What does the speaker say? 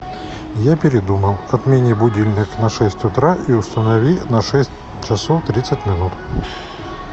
я передумал отмени будильник на шесть утра и установи на шесть часов тридцать минут